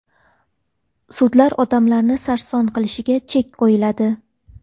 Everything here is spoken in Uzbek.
Sudlar odamlarni sarson qilishiga chek qo‘yiladi.